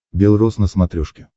бел роз на смотрешке